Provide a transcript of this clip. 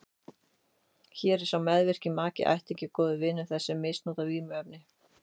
Hér er sá meðvirki maki, ættingi eða góður vinur þess sem misnotar vímuefnin.